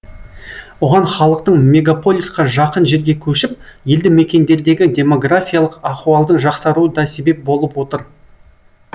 оған халықтың мегаполисқа жақын жерге көшіп елді мекендердегі демографиялық ахуалдың жақсаруы да себеп болып отыр